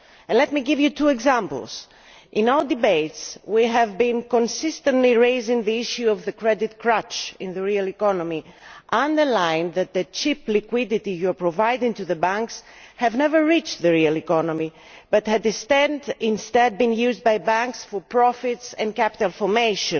Let me give you two examples in our debates we have consistently raised the issue of the credit crutch in the real economy, along the line that the cheap liquidity you are providing for banks has never reached the real economy but was instead used by banks for profits and capital formation.